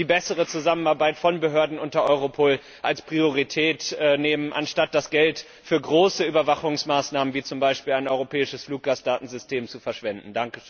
die bessere Zusammenarbeit von Behörden unter Europol als Priorität setzen, anstatt das Geld für große Überwachungsmaßnahmen wie etwa ein europäisches Fluggastdatensystem zu verschwenden.